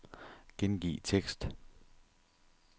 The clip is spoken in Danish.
Gengiv tekst.